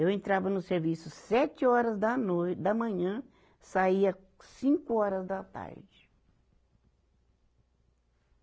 Eu entrava no serviço sete horas da noi, da manhã, saía cinco horas da tarde.